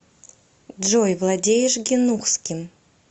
джой владеешь гинухским